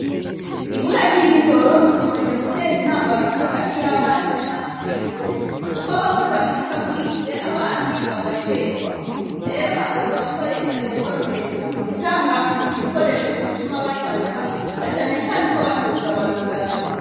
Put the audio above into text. Ubura ry'igitoro rikeje gutera impambamyi hagati y'abarimu nab'anyeshure, kuko bamwe bashika bwije abandi bagacerwa. Rero bagasabako reta yoborohereza ku gutanga ibikoresho bituma banyaruka na cane cane ko batoza barugaranwa.